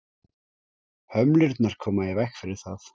hömlurnar koma í veg fyrir það